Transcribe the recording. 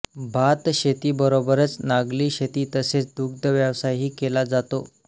भातशेती बरोबरच नागली शेती तसेच दुग्ध व्यवसायही केला जातो